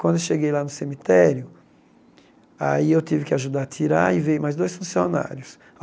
Quando eu cheguei lá no cemitério, aí eu tive que ajudar a tirar e veio mais dois funcionários.